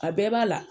A bɛɛ b'a la